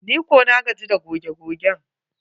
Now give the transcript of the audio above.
Nikam na gaji da goge gogen.